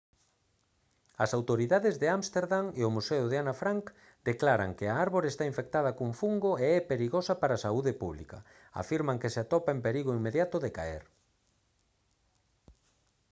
as autoridades de ámsterdam e o museo de ana frank declaran que a árbore está infectada cun fungo e é perigosa para a saúde pública afirman que se atopa en perigo inmediato de caer